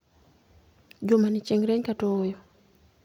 Jumani chieng ' rieny kata ooyo